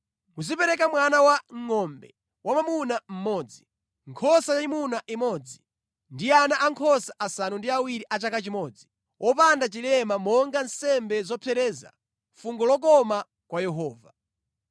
Muzipereka mwana wangʼombe wamwamuna mmodzi, nkhosa yayimuna imodzi ndi ana ankhosa asanu ndi awiri a chaka chimodzi wopanda chilema monga nsembe zopsereza, fungo lokoma kwa Yehova.